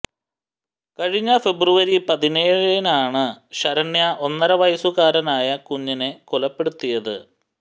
കഴിഞ്ഞ ഫെബ്രുവരി പതിനേഴിനാണ് ശരണ്യ ഒന്നര വയസുകാരനായ കുഞ്ഞിനെ കൊലപ്പെടുത്തിയത്